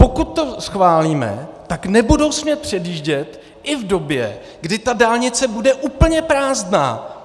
Pokud to schválíme, tak nebudou smět předjíždět i v době, kdy ta dálnice bude úplně prázdná.